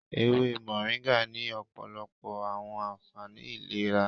Ewe Moringa ni ọpọlọpọ awọn anfani ilera